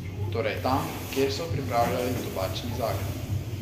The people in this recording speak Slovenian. Torej tam, kjer so pripravljali tobačni zakon.